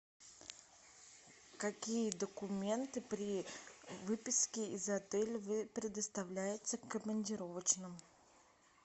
какие документы при выписке из отеля вы предоставляете командировочным